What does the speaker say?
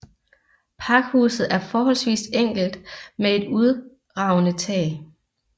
Pakhuset er forholdsvist enkelt med et udragende tag